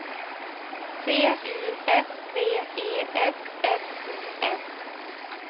T U F V E S S O N